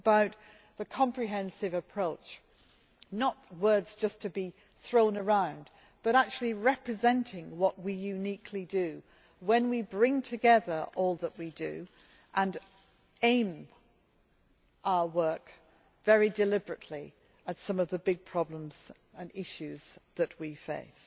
It is about the comprehensive approach not words just to be thrown around, but actually representing what we uniquely do when we bring together all that we do and aim our work, very deliberately, at some of the big problems and issues that we face.